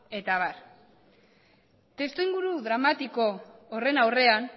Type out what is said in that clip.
eta abar testuinguru dramatiko horren aurrean